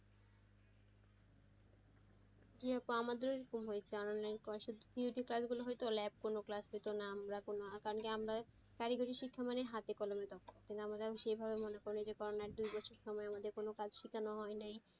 আমাদেরো এরকম হইছে theory class গুলা হতো class গুলো হতো না কারন আমরা হাতে কলমে আমরা সেভাবে মনে করি করোনার সময়ে আমাদের কোনো কাজ শিখানো হয় নাই।